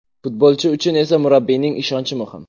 Futbolchi uchun esa murabbiyning ishonchi muhim.